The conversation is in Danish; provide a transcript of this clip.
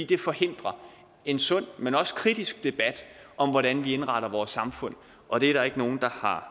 det forhindrer en sund men også kritisk debat om hvordan vi indretter vores samfund og det er der ikke nogen der har